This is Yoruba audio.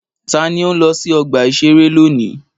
Ta ni ó ń lọ sí ọgbà-ìṣeré lónìí?